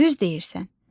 Düz deyirsən.